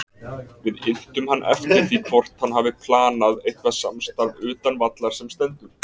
Við inntum hann eftir því hvort hann hafi planað eitthvað samstarf utan vallar sem stendur?